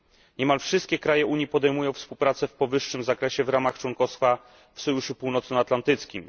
Niemal wszystkie kraje Unii podejmują współpracę w powyższym zakresie w ramach członkostwa w Sojuszu Północnoatlantyckim.